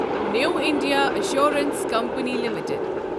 new India assurance company limited